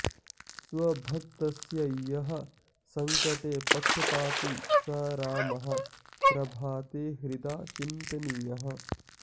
स्वभक्तस्य यः संकटे पक्षपाती स रामः प्रभाते हृदा चिन्तनीयः